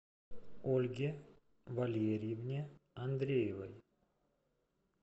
ольге валерьевне андреевой